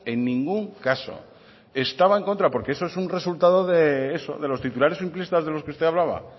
en ningún caso estaba en contra porque eso es un resultado de eso de los titulares simplistas de los que usted hablaba